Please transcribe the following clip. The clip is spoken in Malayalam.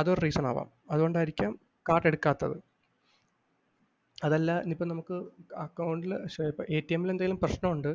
അതൊരു reason ആവാം. അതുകൊണ്ടായിരിക്കാം കാർഡ് എടുക്കാത്തത്. അതല്ല എനിയിപ്പൊ നമുക്ക് account ൽ ൽ എന്തേലും പ്രശ്നമുണ്ട്